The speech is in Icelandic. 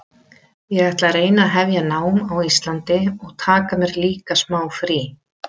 Ég ætla að reyna að hefja nám á Íslandi og taka mér líka smá frí.